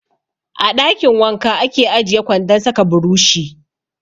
A ɗakin wanka ake ajiye kwandon sa ka burushi.